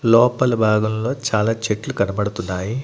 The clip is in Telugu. లోపల భాగంలో చాలా చెట్లు కనపడుతున్నాయి.